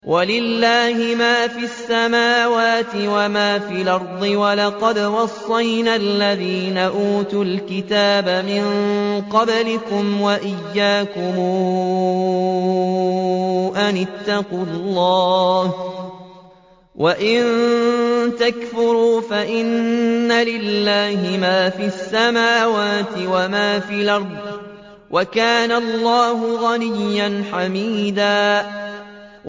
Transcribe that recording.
وَلِلَّهِ مَا فِي السَّمَاوَاتِ وَمَا فِي الْأَرْضِ ۗ وَلَقَدْ وَصَّيْنَا الَّذِينَ أُوتُوا الْكِتَابَ مِن قَبْلِكُمْ وَإِيَّاكُمْ أَنِ اتَّقُوا اللَّهَ ۚ وَإِن تَكْفُرُوا فَإِنَّ لِلَّهِ مَا فِي السَّمَاوَاتِ وَمَا فِي الْأَرْضِ ۚ وَكَانَ اللَّهُ غَنِيًّا حَمِيدًا